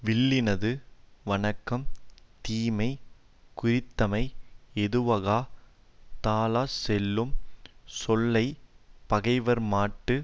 வில்லினது வணக்கம் தீமையைக் குறித்தமை ஏதுவாகத் தாழச்சொல்லுஞ் சொல்லை பகைவார்மாட்டு